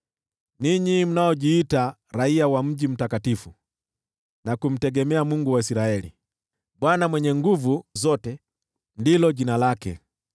ninyi mnaojiita raiya wa mji mtakatifu, na kumtegemea Mungu wa Israeli, Bwana Mwenye Nguvu Zote ndilo jina lake: